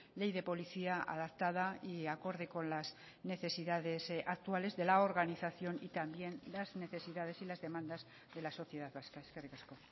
ley de policía adaptada y acorde con las necesidades actuales de la organización y también las necesidades y las demandas de la sociedad vasca eskerrik asko